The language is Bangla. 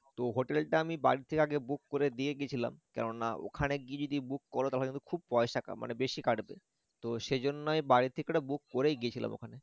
তো hotel টা আমি বাড়ি থেকে আগে book করে দিয়ে গেছিলাম কেননা ওখানে গিয়ে book কর তাহলে খুব পয়সা কা~কাটে মানে বেশি কাটবে তো সেইজন্যই বাড়ি থেকে book করেই গিয়েছিলাম ওখানে